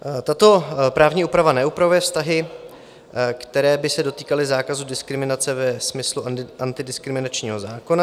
Tato právní úprava neupravuje vztahy, které by se dotýkaly zákazu diskriminace ve smyslu antidiskriminačního zákona.